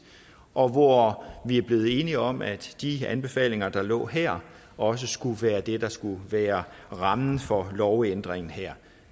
og hvor vi er blevet enige om at de anbefalinger der lå her også skulle være det der skulle være rammen for lovændringen her